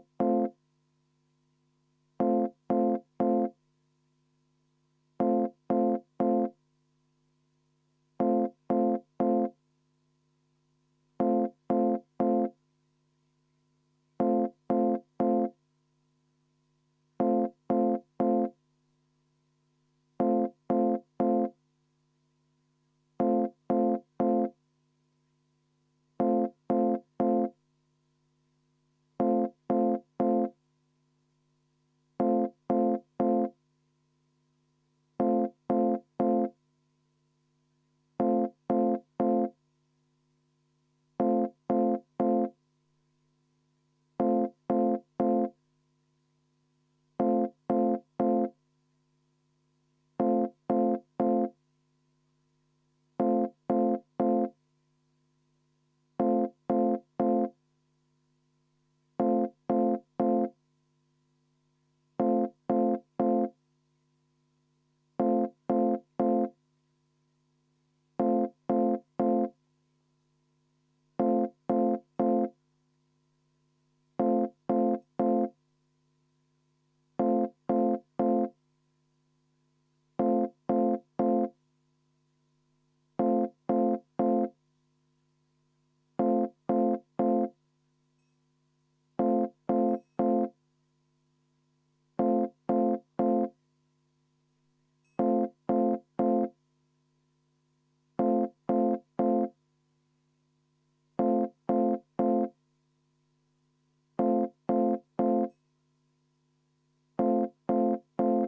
V a h e a e g